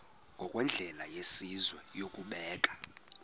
ngokwendlela yesizwe yokubeka